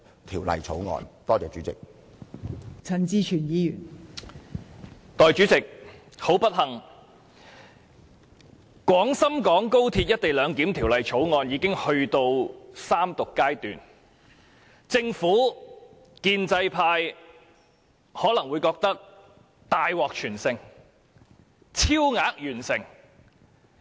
代理主席，十分不幸，《廣深港高鐵條例草案》已經到了三讀階段，政府、建制派可能會認為大獲全勝，超額完成。